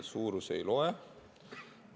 Suurus ei loe.